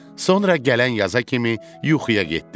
Sonra gələn yaza kimi yuxuya getdi.